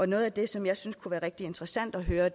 noget af det som jeg synes kunne være rigtig interessant at høre